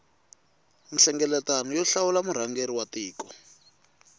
nhlengeletano yo hlawula murhangeri wa tiko